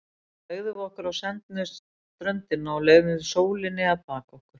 Þá fleygðum við okkur á sendna ströndina og leyfðum sólinni að baka okkur.